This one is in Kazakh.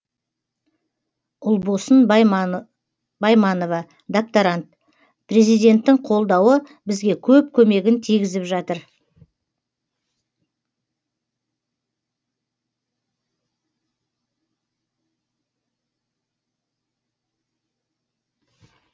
ұлбосын байманова докторант президенттің қолдауы бізге көп көмегін тигізіп жатыр